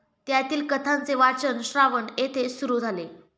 त्यातील कथांचे वाचन, श्रावण येथे सुरु झाले.